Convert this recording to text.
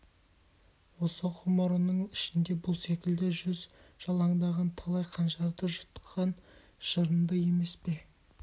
осы ғұмырының ішінде бұл секілді жүз жалаңдаған талай қанжарды жұтқан жырынды емес пе